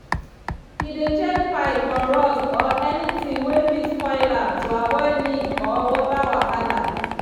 he dey check pipe for rust or anything wey fit spoil am to avoid leak or water wahala.